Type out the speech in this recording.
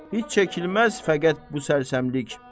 heç çəkilməz fəqət bu sərsəmlik.